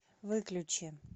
выключи